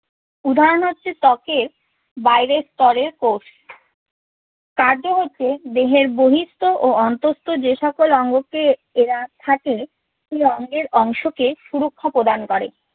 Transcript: উদাহরণ হচ্ছে ত্বকের বাইরের স্তরের কোষ। কার্য হচ্ছে দেহের বহিঃস্থ ও অন্তঃস্ত যে সকল অঙ্গকে এরা থাকে সেই অঙ্গের অংশকে সুরক্ষা প্রদান করে।